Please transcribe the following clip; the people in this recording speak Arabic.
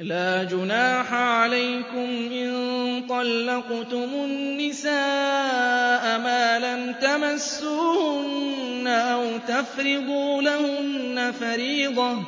لَّا جُنَاحَ عَلَيْكُمْ إِن طَلَّقْتُمُ النِّسَاءَ مَا لَمْ تَمَسُّوهُنَّ أَوْ تَفْرِضُوا لَهُنَّ فَرِيضَةً ۚ